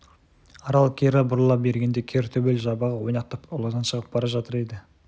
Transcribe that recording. арал кері бұрыла бергенде кер төбел жабағы ойнақтап ауладан шығып бара жатыр еді